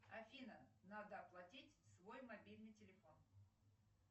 афина надо оплатить свой мобильный телефон